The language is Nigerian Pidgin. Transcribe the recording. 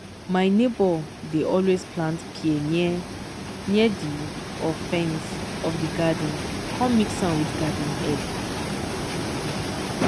my neighbor dey always plant pear near near di of fence of di garden com mix am with garden egg.